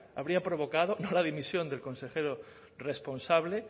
habría provocado no la dimisión del consejero responsable